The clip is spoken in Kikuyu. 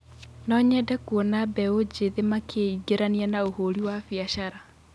No nyende kuona mbeũ njĩthĩ makĩingĩrania na ũhũri wa biacara.